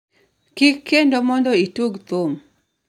kiki kendo mondo itug thum